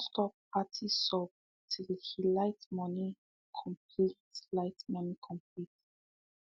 he done stop party sub till he light money complete light money complete